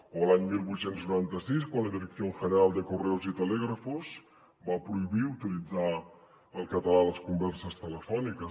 o l’any divuit noranta sis quan la dirección general de correos y telégrafos va prohibir utilitzar el català a les converses telefòniques